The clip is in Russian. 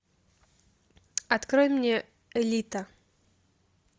открой мне элита